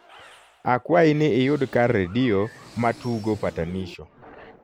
akwayi ni iyud kar redio ma tugo patanisho